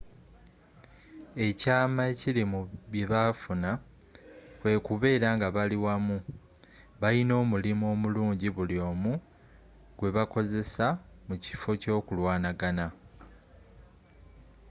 ekyama ekili mu byebafuna kwe kubera nga bali wamu balina omulimu omulunjji buli omu gwebakozessa mukifo kyokulwanagana